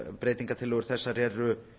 breytingartillögur þessar eru